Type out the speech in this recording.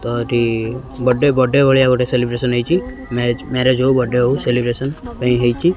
ତରି birthday ଟା birthday ଭଳିଆ ଗୋଟେ ସେଲିବ୍ରେସନ୍ ହେଇଛି ମ୍ୟାରେ ମ୍ୟାରେଜ୍ ହଉ ବର୍ଥଡେ ହଉ ସେଲିବ୍ରେସନ୍ ହେଇଛି।